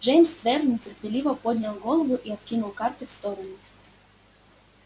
джеймс твер нетерпеливо поднял голову и откинул карты в сторону